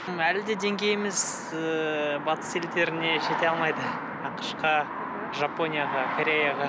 әлі де деңгейіміз ыыы батыс елдеріне жете алмайды ақш қа жапонияға кореяға